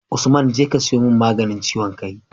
Usman jeka ka siyo mun maganin ciwon kai